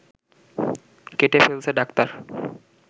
কেটে ফেলছে ডাক্তার